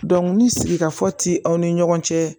ni sigika fɔ ti aw ni ɲɔgɔn cɛ